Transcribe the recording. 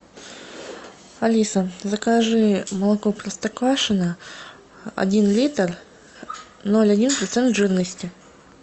алиса закажи молоко простоквашино один литр ноль один процент жирности